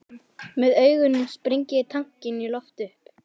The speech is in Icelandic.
Með augunum sprengi ég tankinn í loft upp.